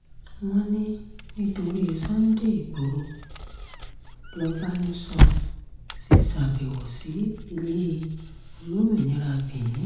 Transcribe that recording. wọ́n ní nítorí sunday igboro lọ́bánisọ ṣe ṣàbẹ̀wò sí ilé olómìnira benin